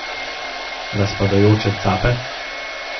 Razpadajoče cape?